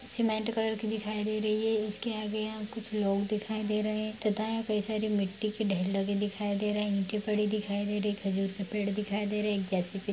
cement colour के दिखाई दे रही है इसके आगे यहाँ कुछ लोग दिखाई दे रहे तथा यहां कई सारी मिट्टी के ढेर लगे दिखाई दे रहे है इटे पड़ी दिखाई दे रही खजूर से पेड़ दिखाई दे रहे एक जैसी --